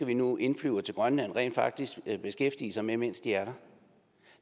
vi nu indflyver til grønland rent faktisk beskæftige sig med mens de er der